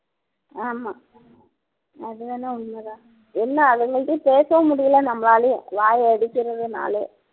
ஆமா அது வேணா உண்மை தான் என்ன அதுங்கள்கிட்டயும் பேசவும் முடியலை நம்மளாலேயும் வாயை அடிக்கிறதுனாலேயே